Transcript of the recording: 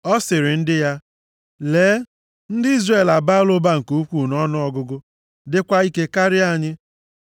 ọ sịrị ndị ya, “Lee, ndị Izrel abaala ụba nke ukwuu nʼọnụọgụgụ dịkwa ike karịa anyị.